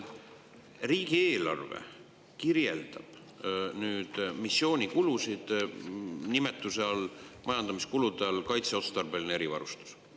Riigieelarve kirjeldab missioonikulusid majandamiskulude all nimega "Kaitseotstarbeline erivarustus".